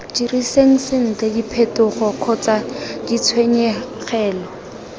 diriseng sentle diphetogo kgotsa ditshenyegelo